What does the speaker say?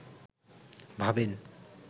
ভাবেন